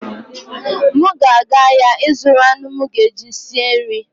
M ga-aga ahịa ịzụrụ anụ ezi m ga-eji sie nri.